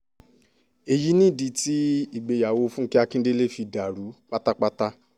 èyí nìdí tí ìgbéyàwó fúnkẹ́ akíndélé fi dàrú pátápátá